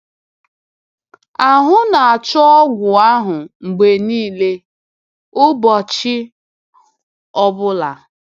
“Ahụ́ na-achọ ọgwụ ahụ mgbe niile, ụbọchị ọ bụla.”